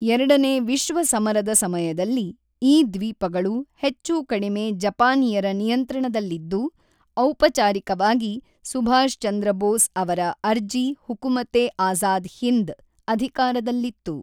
ಎರಡನೇ ವಿಶ್ವ ಸಮರದ ಸಮಯದಲ್ಲಿ, ಈ ದ್ವೀಪಗಳು ಹೆಚ್ಚು-ಕಡಿಮೆ ಜಪಾನಿಯರ ನಿಯಂತ್ರಣದಲ್ಲಿದ್ದು, ಔಪಚಾರಿಕವಾಗಿ ಸುಭಾಷ್ ಚಂದ್ರ ಬೋಸ್ ಅವರ ಅರ್ಜಿ-ಹುಕುಮತ್-ಏ-ಆಜಾದ್ ಹಿಂದ್ ಅಧಿಕಾರದಲ್ಲಿತ್ತು.